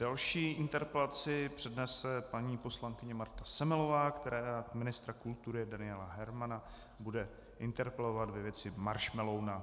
Další interpelaci přednese paní poslankyně Marta Semelová, která ministra kultury Daniela Hermana bude interpelovat ve věci maršmeloun.